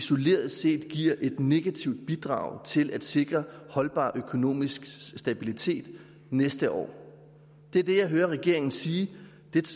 isoleret set giver et negativt bidrag til at sikre holdbar økonomisk stabilitet næste år det er det jeg hører regeringen sige det